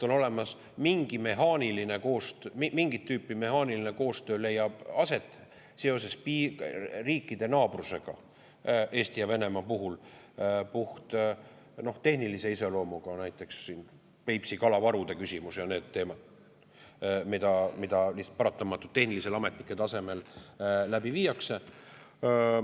On olemas mingit tüüpi mehaaniline koostöö, mis leiab aset seoses sellega, et Eesti ja Venemaa on naaberriigid, see on puhttehnilise iseloomuga, näiteks Peipsi kalavarude küsimus ja muud teemad, mida paratamatult ametnike tasemel läbi viiakse.